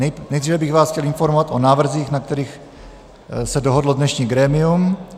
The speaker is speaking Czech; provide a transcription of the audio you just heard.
Nejdříve bych vás chtěl informovat o návrzích, na kterých se dohodlo dnešní grémium.